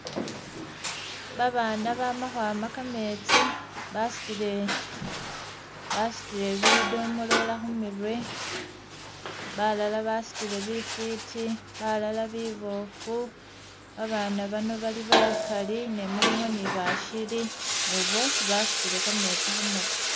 Ba baana bama khwama kametsi basutile basutile bi domolola khumirwe balala basutile bifiti balala biboofu ba baana bano bali bakali ne mulimo ni bashili ne bwosi basutile kametsi khumirwe.